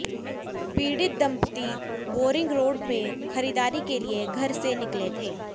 पीड़ित दंपती Boring road में खरीदारी के लिए घर से निकले थे